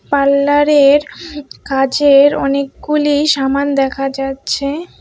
পার্লারের কাজের অনেকগুলি সামান দেখা যাচ্ছে।